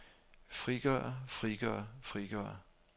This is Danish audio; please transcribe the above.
frigøre frigøre frigøre